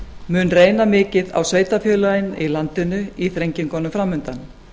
mun reyna mikið á sveitarfélögin í landinu í þrengingunum framundan